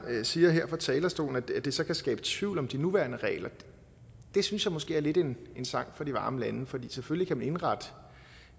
siger her fra talerstolen at det så kan skabe tvivl om de nuværende regler det synes jeg måske er lidt en sang fra de varme lande for selvfølgelig kan man indrette